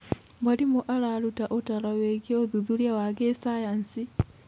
Mwarimũ araruta ũtaaro wĩgiĩ ũthuthuria wa gĩcayanci.